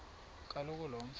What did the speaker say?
kaloku lo mfo